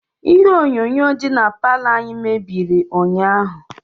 ihe onyonyo dị na palọ anyi mebiri ụnyahụ